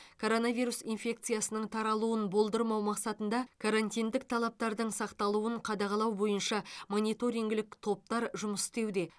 коронавирус инфекциясының таралуын болдырмау мақсатында карантиндік талаптардың сақталуын қадағалау бойынша мониторингілік топтар жұмыс істеуде